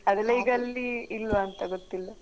ಅದೆಲ್ಲ ಈಗ ಅಲ್ಲಿ ಇಲ್ವಾ ಅಂತ? ಗೊತ್ತಿಲ್ಲ.